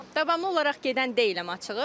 Davamlı olaraq gedən deyiləm açığı.